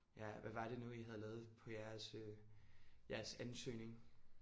Ja. Hvad var det nu i havde lavet på jeres øh jeres ansøgning?